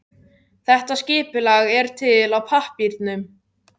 Þetta skipulag er til á pappírnum.